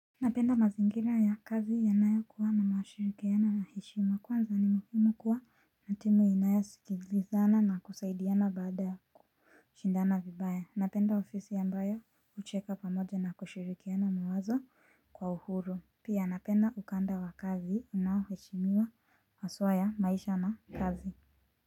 Napenda mazingira ya kazi yanayokuwa na mashirikiano na heshima kwanza ni muhimu kuwa na timu inayosikilizana na kusaidiana baada kushindana vibaya. Napenda ofisi ambayo hucheka pamoja na kushirikiana mawazo kwa uhuru. Pia napenda ukanda wa kazi unaoheshimiwa haswa ya maisha na kazi.